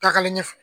Taagalen ɲɛfɛ